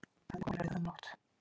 Það er komin rauðanótt.